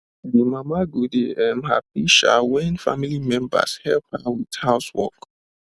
d mama go dey um happy um wen family members help her with house work